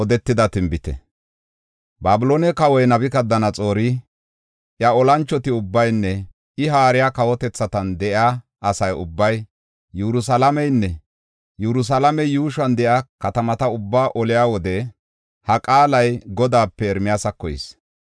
Babiloone kawoy Nabukadanaxoori, iya olanchoti ubbaynne I haariya kawotethatan de7iya asa ubbay, Yerusalaamenne Yerusalaame yuushuwan de7iya katamata ubbaa oliya wode, ha qaalay Godaape Ermiyaasako yis: